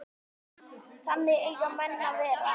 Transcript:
Þannig eiga menn að vera.